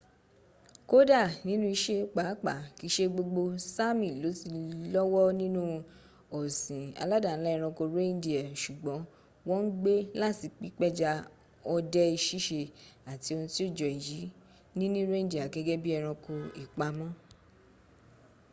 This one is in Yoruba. kódà nínú ìse pàápàá kìí se gbogbo sami ló ti lọ́wọ́ nínú ọ̀sìn aládàńlá ẹranko reindeer sùgbọ́n wọ́n ń gbé láti pípẹja ọdẹ síse àti ohun tí ó jọ èyí níní reindeer gẹ́gẹ́ bí eranko ìpamọ́